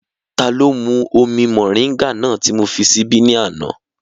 Taló mú omi mọ̀ríńgà náà ti mó fi síbí ní àná?